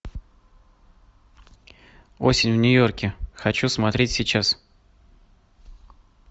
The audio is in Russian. осень в нью йорке хочу смотреть сейчас